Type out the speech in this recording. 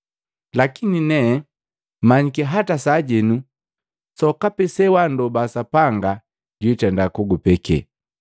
Lakini nee manyiki hata sajenu sokapi sewanndoba Sapanga, jwitenda kugupeke.”